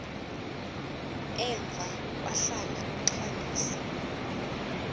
emva kwahlala uxalisa